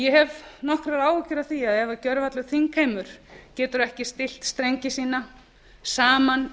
ég hef nokkrar áhyggjur af því að ef gervallur þingheimur getur ekki stillt strengi sína saman